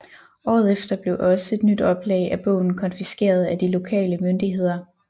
Året efter blev også et nyt oplag af bogen konfiskeret af de lokale myndigheder